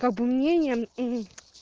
как бы мнение мм